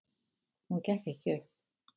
Hún gekk ekki upp.